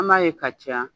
An b'a ye ka caya